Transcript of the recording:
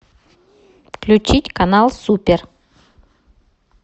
включить канал супер